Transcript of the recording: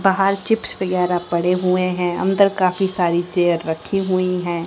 बाहर चिप्स वगैरा पड़े हुए हैं अंदर काफी सारी चेयर रखी हुई हैं।